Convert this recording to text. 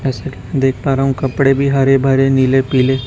देख पा रहा हूं कपड़े भी हरे भरे नीले पीले--